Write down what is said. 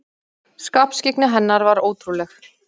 Skarpskyggni hennar var ótrúleg.